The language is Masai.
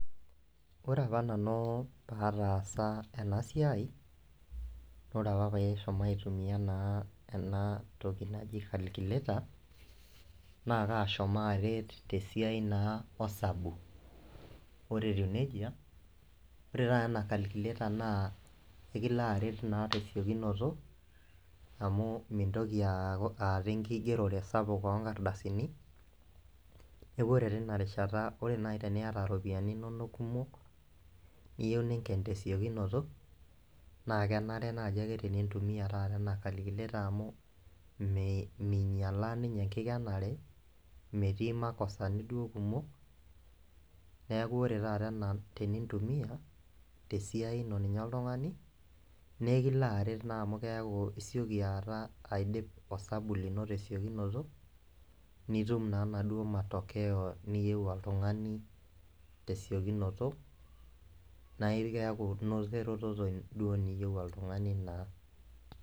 Ore apa nanu pataasa ena siai ore apa paishomo aitumia naa ena toki naji calculator naa kashomo aaret tesiai naa osabu ore etiu nejia ore taata ena calculator naa ekilo aret naa tesiokinoto amu mintoki aaku aata enkigerore sapuk onkardasini neku ore teina rishata ore naaji teniyata iropiyiani inonok kumok niyieu ninken tesiokinoto naa kenare naaji ake tenintumia taata ena calculator amu mei minyialaa ninye enkikenare metii imakosani duo kumok neku ore taata ena tenintumia tesiai ino ninye oltung'ani nekilo aret naa amu keaku isioki aata aidip osabu lino tesiokinoto nitum naa inaduo matokeo niyieu oltung'ani tesiokinoto nae keaku inoto eretoto duo niyieu oltung'ani naa.